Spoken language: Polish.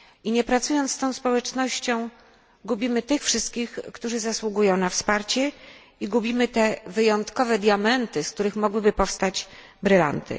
Nie pracując z tą społecznością, gubimy tych wszystkich, którzy zasługują na wsparcie i gubimy te wyjątkowe diamenty, z których mogłyby powstać brylanty.